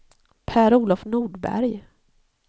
Per-Olof Nordberg